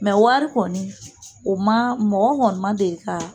Mɛ wari kɔni, o ma, mɔgɔ kɔni ma deli ka